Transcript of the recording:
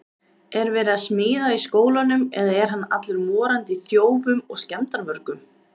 Er verið að smíða í skólanum eða er hann allur morandi í þjófum og skemmdarvörgum!